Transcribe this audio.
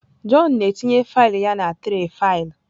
Jọn na-etinye faịlụ ya na tray faịlụ.